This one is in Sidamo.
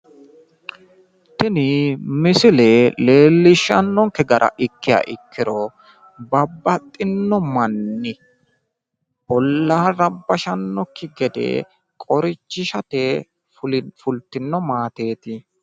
tini misile leellishshannonke gara ikkiha ikkiro babaxinno manni ollaa rabbashannokki gede qorichishate fultino maateeti.